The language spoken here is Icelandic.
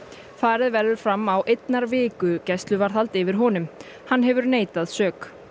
farið verður fram á einnar viku gæsluvarðhald yfir honum hann hefur neitað sök